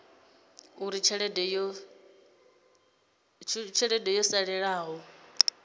uri tshelede yo salelaho i